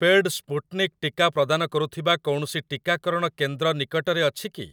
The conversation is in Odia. ପେଡ଼୍‌ ସ୍ପୁଟ୍‌ନିକ୍ ଟିକା ପ୍ରଦାନ କରୁଥିବା କୌଣସି ଟିକାକରଣ କେନ୍ଦ୍ର ନିକଟରେ ଅଛି କି ?